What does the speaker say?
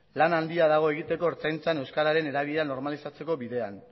lan handia dago egiteko ertzaintzan euskararen erabilera normalizatzeko bidean